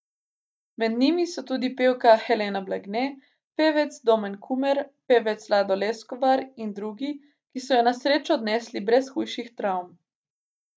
Med njimi so tudi pevka Helena Blagne, pevec Domen Kumer, pevec Lado Leskovar in drugi, ki so jo na srečo odnesli brez hujših travm.